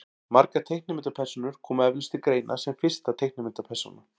margar teiknimyndapersónur koma eflaust til greina sem fyrsta teiknimyndapersónan